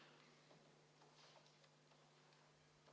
Palun kontrollida hääletamiskasti ja seda, et selle turvaplomm ei oleks rikutud.